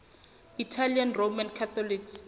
italian roman catholics